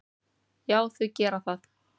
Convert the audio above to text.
Já, þau gera það.